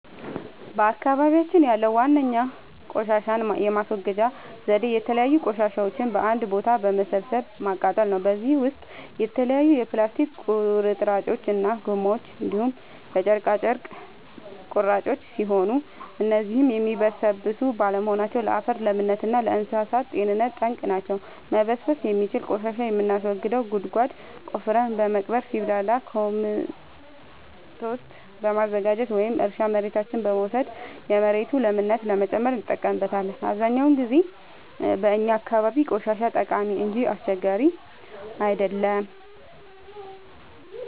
በአካባቢያችን ያለዉ ዋነኛ ቆሻሻን የማስወገጃ ዘዴ የተለያዩ ቆሻሻዎችን በአንድ ቦታ በመሰብሰብ ማቃጠል ነው። በዚህም ውስጥ የተለያዩ የፕላስቲክ ቁርጥራጮች እና ጎማዎች እንዲሁም የጨርቅ ቁራጮች ሲሆኑ እነዚህም የሚበሰብሱ ባለመሆናቸው ለአፈር ለምነት እና ለእንሳሳት ጤንነት ጠንቅ ናቸው። መበስበስ የሚችል ቆሻሻን የምናስወግደው ጉድጓድ ቆፍረን በመቅበር ሲብላላ ኮምቶስት በማዘጋጀት ወደ እርሻ መሬታችን በመውሰድ የመሬቱን ለምነት ለመጨመር እንጠቀምበታለን። አብዛኛውን ጊዜ በእኛ አካባቢ ቆሻሻ ጠቃሚ እንጂ አስቸጋሪ አይደለም።